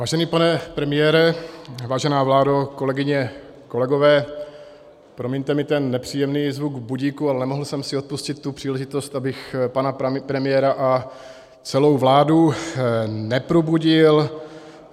Vážený pane premiére, vážená vládo, kolegyně, kolegové, promiňte mi ten nepříjemný zvuk budíku, ale nemohl jsem si odpustit tu příležitost, abych pana premiéra a celou vládu neprobudil.